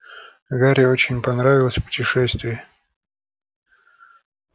гарри очень понравилось путешествие